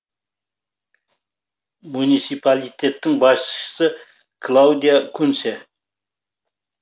муниципалитеттің басшысы клаудиа кунце